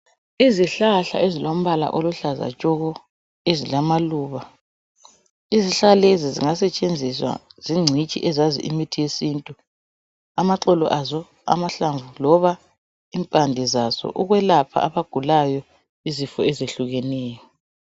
Izihlahla ezilombala oluhlaza tshoko ezilamaluba. Izihlahla lezi zingasetshenziswa zingcitshi ezazi imithi yezintu. Amaxolo aso amahlamvu loba impande zaso ukwelapha abagulayo izifo ezehlukeneyo.